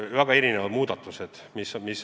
Väga mitu muudatust.